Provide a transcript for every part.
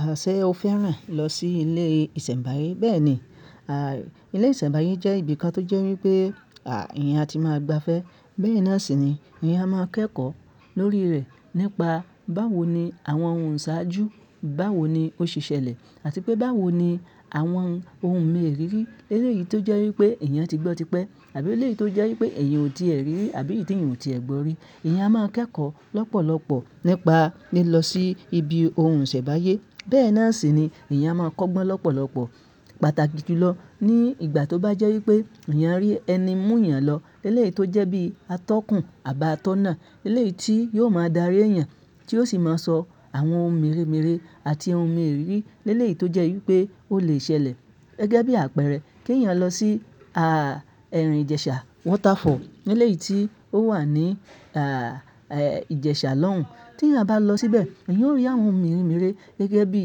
À ṣẹ o fẹ́ràn lọ sí ilé ìsẹ̀mbáyé? Bẹ́ẹ̀ ni, à, ilé ìsẹ̀mbáyé jẹ́ ibi kan tó jẹ́ wípé, à, eèyàn á ti máa gbafẹ́. Bẹ́ẹ̀ náà sì ni eèyàn á máa kẹ́kọ̀ọ́ lórí rẹ̀ nípa báwo ni àwọn ohun ìṣàájú, báwo ni ó ṣi ṣẹlẹ̀ àti pé báwo ni àwọn ohun mèrírí. Eléyìí tó jẹ́ wípé èeyàn ti gbọ́ tipẹ́ àbí eléyìí tó jẹ́ wípé èeyàn ò tií rí àbí èyí tí èeyàn ò tìi gbọ́ rí. Ẹ̀eyàn a máa kẹ́kọ̀ọ́ lọ́pọ̀lọpọ̀ nípa lílọ sí ibi ohun ìsẹ̀mbáyé. Bẹ́ẹ̀ náà sì ni èyàn á máa kọ́gbọ́n lọ́pọ̀lọpọ̀, pàtàkì jùlọ ní ìgbà tó bá jẹ́ wípé èeyàn rí ẹni mú èèyàn lọ eléyìí tó jẹ́ bí atọ́kùn àba tọ́ náà. Eléyìí tí yóò máa darí èèyàn tí ó sì máa sọ àwọn ohun mèremere àti ohun mèrírí eléyìí tó jẹ́ wípé ó lè ṣẹlẹ̀. Gẹ́gẹ́ bí àpẹẹrẹ, kí èeyàn lọ sí, à, ẹrin Ìjẹ̀sà Waterfall. Eléyìí tí ó wà ní, à, ẹ, Ìjẹ̀sà lọ́hùn-ún. Tí eèyàn bá lọ síbẹ̀, èeyàn ó rí àwọn ohun mèremere gẹ́gẹ́ bí,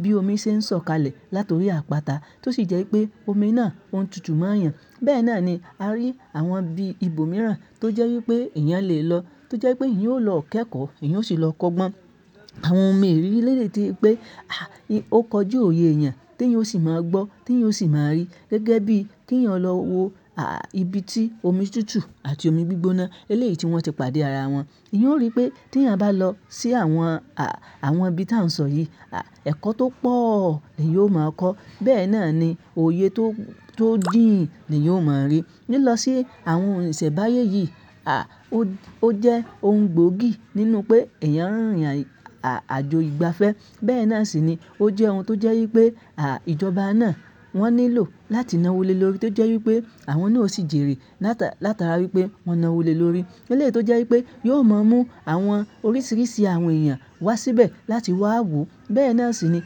bí omi ṣe ń sọ̀kalẹ̀ látorí àpáta tó sì jẹ́ wípé omi náà ń tutù mọ́ èeyàn. Bẹ́ẹ̀ náà ni a rí àwọn ibi ibòmíràn tó jẹ́ wípé eèyàn le lọ, tó jẹ́ wípé eèyàn yóò lọ kẹ́kọ̀ọ́, eèyàn ó sì lọ kọ́gbọ́n àwọn ohun mèrírí eléyìí tí pé, à, ó kọjú òye èèyàn tí eèyàn ó sì máa gbọ́, tí eèyàn ó sì máa rí. Gẹ́gẹ́ bí kí èeyàn lọ wo, à, ibi tí omi tutù àti omi gbígbóná eléyìí tí wọ́n ti pàdé ara wọn. Èeyàn ó rí pé tí èeyàn bá lọ sí àwọn, à, àwọn ibi tí a ń sọ yìí, à, ẹ̀kọ́ tó pọ̀ ni yóò máa kọ́. Bẹ́ẹ̀ náà ni òye tó, tó jíǹì ni yóò máa rí. Lílọ sí àwọn ohun ìsẹ̀mbáyé yìí, à, ó jẹ́ ohun gbóògì nínú pé èeyàn ń rìn àjò ìgbafẹ́. Bẹ́ẹ̀ náà sì ni ó jẹ́ ohun tó jẹ́ wípé, à, ìjọba náà wọ́n nílò láti nawó lé lórí tó jẹ́ wípé àwọn náà ó sì jèrè látara wípé wọ́n nawó lé lórí. Eléyìí tó jẹ́ wípé yóò máa mú àwọn oríṣìíríṣìí àwọn èèyàn wá síbẹ̀ láti wá wò. Bẹ́ẹ̀ náà sì ni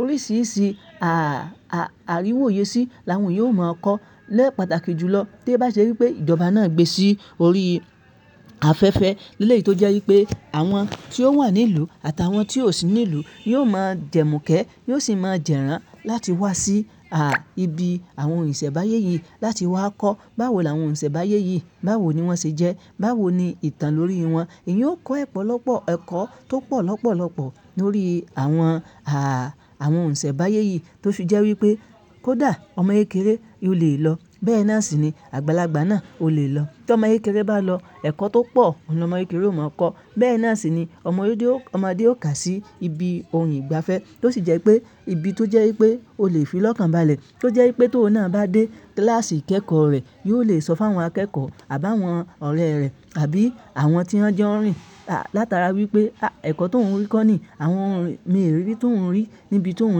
oríṣìíríṣìí, à, àríwòye sí làwọn èèyàn ó máa kọ́ lẹ́ pàtàkì jùlọ tí ó bá ṣe wípé ìjọba náà gbé sí orí afẹ́fẹ́. Eléyìí tó jẹ́ wípé àwọn tí ó wà ní ìlú àtàwọn tí ò sí ní ìlú yóò máa jẹ́mukẹ́, yóò sì máa jẹ́rà án láti wá sí, à, ibi àwọn ohun ìsẹ̀mbáyé yìí láti wá kọ́ báwo làwọn ohun ìsẹ̀mbáyé yìí, báwo ni wọ́n ṣe jẹ́, báwo ni ìtàn lórí wọn. Ẹ̀yàn ó kọ́ ẹ̀pọ̀lọpọ̀ ẹ̀kọ́ tó pọ̀ lọ́pọ̀lọpọ̀ lórí àwọn, à, àwọn ohun ìsẹ̀mbáyé yìí tó fì jẹ́ wípé kó dà, ọmọ ékéré yó lè lọ. Bẹ́ẹ̀ náà sì ni àgbàlagbà náà o lè lọ. Tí ọmọ yékéré bá lọ, ẹ̀kọ́ tó pọ̀ ni ọmọ yékéré ó máa kọ́. Bẹ́ẹ̀ náà sì ni ọmọdé ó, ọmọdé ó kà sí ibi ohun ìgbafẹ́ tó sì jẹ́ pé ibi tó jẹ́ wípé ó lè fi lọ́kàn balẹ̀, tó jẹ́ wípé tó ò náà bá dé kíláàsì ìkẹ́kọ̀ọ́ rẹ̀, yóò lè sọ fún àwọn akẹ́kọ̀ọ́ àbá àwọn ọ̀rẹ́ rẹ̀ àbí àwọn tí wọ́n jẹ́ ọ̀rìn látara wípé, à, ẹ̀kọ́ tó ń rí kọ́ ni, àwọn ohun mèrírí tó ń rí níbi tó ń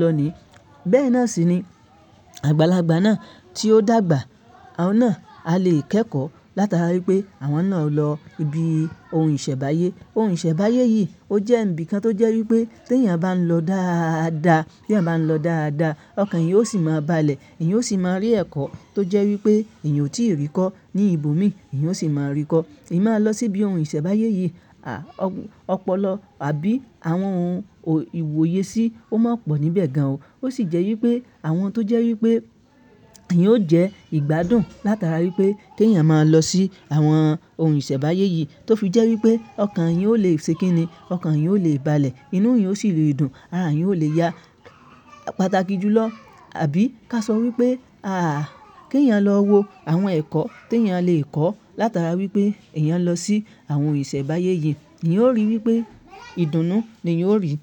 lọ ni. Bẹ́ẹ̀ náà sì ni àgbàlagbà náà tí ó dàgbà, àwọn náà á lè kẹ́kọ̀ọ́ látara wípé àwọn náà lọ ibi ohun ìsẹ̀mbáyé. Ohun ìsẹ̀mbáyé yìí ó jẹ́ ibi kan tó jẹ́ wípé tí èyàn bá ń lọ dáadaa, tí èyàn bá ń lọ dáadaa, ọkàn èyàn ó sì máa balẹ̀, èyàn ó sì máa rí ẹ̀kọ́ tó jẹ́ wípé èyàn ò tíì rí kọ́ ní ibòmí, èyàn ó sì máa rí kọ́. Ẹ̀mi máa lọ sí ibi ohun ìsẹ̀mbáyé yìí, à, ọ̀pọ̀lọpọ̀ àbí àwọn ohun ìwòye sí ó máa pọ̀ níbẹ̀ gan ò. Ó sì jẹ́ wípé àwọn tó jẹ́ wípé èyàn ó jẹ́ ìgbádùn látara wípé tí èyàn máa lọ sí àwọn ohun ìsẹ̀mbáyé yìí tó fi jẹ́ wípé ọkàn èyàn ó lè ṣe kínní, ọkàn èyàn ó lè balẹ̀, inú èyàn ó sì le dùn. Àrà èèyàn ń ò lè ya. Pàtàkì jùlọ, àbí ká sọ wípé, à, kí èyàn lọ wo àwọn ẹ̀kọ́ tí èyàn lè kọ́ látara wípé èyàn lọ sí àwọn ohun ìsẹ̀mbáyé yìí. Èyàn ó rí wípé ìdùnnú ni èyàn ó rí.